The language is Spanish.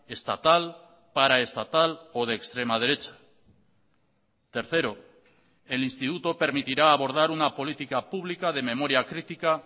estatal paraestatal o de extrema derecha tercero el instituto permitirá abordar una política pública de memoria crítica